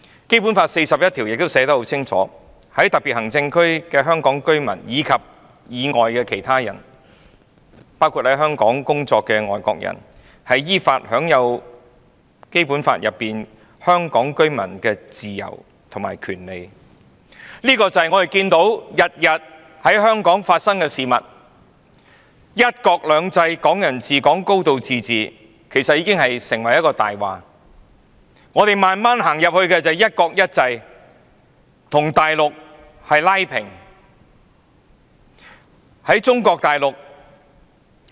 《基本法》第四十一條亦訂明，在香港特別行政區境內的香港居民以外的其他人，依法享有《基本法》規定的香港居民的權利和自由。"一國兩制"、"港人治港"和"高度自治"已成為謊話，我們正慢慢步進"一國一制"，與大陸拉平。